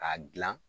K'a gilan